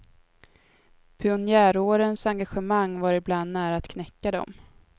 Pionjärårens engagemang var ibland nära att knäcka dem.